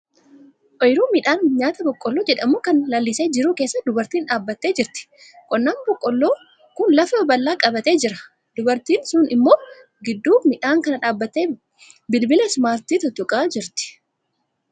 Oyiruu midhaan nyaataa boqqolloo jedhamu kan lalisee jiru keessa dubartiin tokko dhaabbattee jirti. Qonnaan boqqolloo kun lafa bal'aa qabatee jira. Dubartiin sun immoo gidduu midhaan kanaa dhaabbattee bilbila 'ismaartii' tuttuqaa jirti.